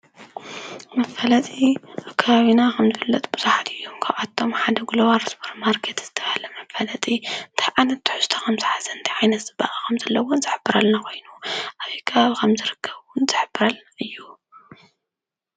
መፋለጢ ኣብ ከባቢና ከም ዝፍለጥ ብዙሓት እዮም ።ካብኣቶም ሓደ ግሎባል ሱፐርማርኬት ዝተብሃለ መፋለጢ እንታይ ዓይነት ከም ዝሓዘን እንታይ ዓይነት ፅባቐ ከም ዘለዎን ዝሕብር እዩ ኮይኑ ኣበይ ከባቢ ከም ዝርከብ እዉን ዝሕብረልና እዩ።